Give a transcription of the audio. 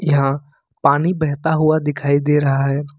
यहाँ पानी बहता हुआ दिखाई दे रहा है।